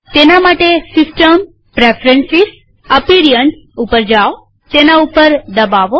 તેના માટે સિસ્ટમ gtપ્રેફ્રન્સીસ gtઅપીરીઅન્સ પર જાઓતેના પર દબાવો